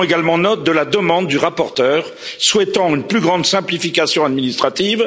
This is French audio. Nous prenons également note de la demande du rapporteur en vue d'une plus grande simplification administrative.